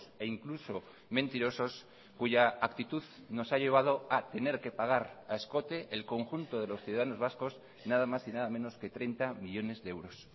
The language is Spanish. e incluso mentirosos cuya actitud nos ha llevado a tener que pagar a escote el conjunto de los ciudadanos vascos nada más y nada menos que treinta millónes de euros